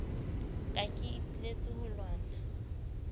ka ke iteletse ho lwana